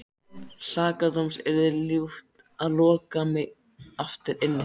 Sakadóms yrði ljúft að loka mig aftur inni.